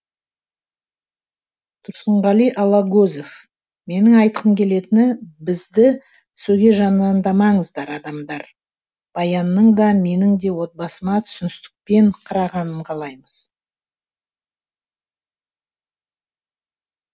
тұрсынғали алагөзов менің айтқым келетіні бізді сөге жамандамаңыздар адамдар баянның да менің де отбасыма түсіністікпен қарағанын қалаймыз